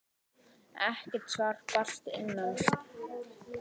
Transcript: Ekkert svar barst að innan.